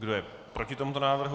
Kdo je proti tomuto návrhu?